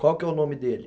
Qual que é o nome dele?